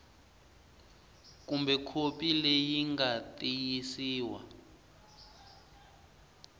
kumbe khopi leyi nga tiyisiwa